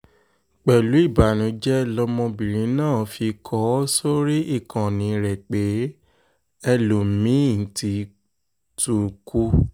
pẹ̀lú ìbànújẹ́ lọmọbìnrin náà fi kọ ọ́ sórí ìkànnì rẹ̀ pé ẹlòmí-ín ti tún kù